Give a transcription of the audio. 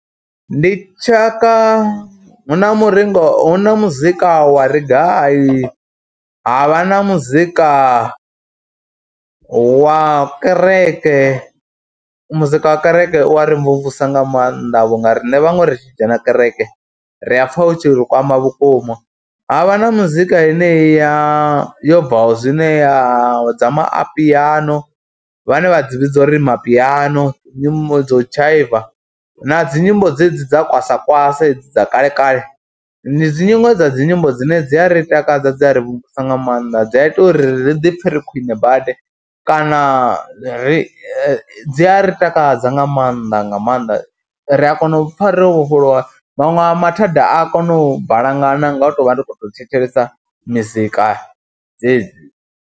Ndi tshaka, hu na muringa hu na muzika wa reggae, ha vha na muzika wa kereke, muzika wa kereke u wa ri mvumvusa nga maanḓa vhu nga riṋe vhaṅwe ri tshi dzhena kereke, ri a pfha u tshi ri kwama vhukuma. Ha vha na muzika yeneyi ya yo bvaho zwino ya dza mapiano vhane vha dzi vhidza uri mapiano, nyimbo dza u dzhaiva na dzi nyimbo dzedzi dza kwaswa kwasa hedzi dza kale kale. Ndi dziṅwe dza dzi nyimbo dzine dzi a ri takadza, dzi a ri thusa nga maanḓa dzi a ita uri ri ḓi pfhe ri khwine badi kana ri, dzi a ri takadza nga maanḓa nga maanḓa. Ri a kona u pfha ro vhofholowa, maṅwe a mathada a kono u balangana nga u tou vha ndi khou tou thetshelesa mizika dzedzi.